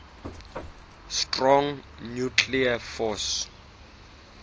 strong nuclear force